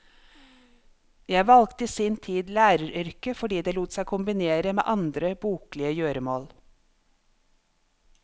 Jeg valgte i sin tid læreryrket fordi det lot seg kombinere med andre boklige gjøremål.